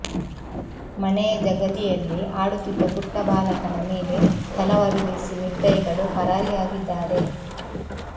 ಮನೆಯ ಜಗಲಿಯಲ್ಲಿ ಆಡುತ್ತಿದ್ದ ಪುಟ್ಟ ಬಾಲಕನ ಮೇಲೆ ತಲವಾರು ಬೀಸಿ ನಿರ್ದಯಿಗಳು ಪರಾರಿಯಾಗಿದ್ದಾರೆ